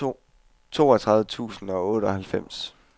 toogtredive tusind og otteoghalvfems